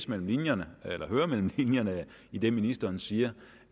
mellem linjerne i det ministeren siger